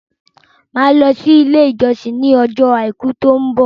Màá lọ sí ilé ìjọsìn ní ọjọ́ àìkú tó ń bọ̀